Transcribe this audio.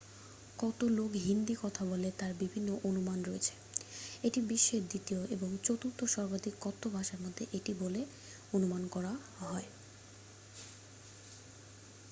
কত লোক হিন্দি কথা বলে তার বিভিন্ন অনুমান রয়েছে এটি বিশ্বের দ্বিতীয় এবং চতুর্থ সর্বাধিক কথ্য ভাষার মধ্যে একটি বলে অনুমান করা হয়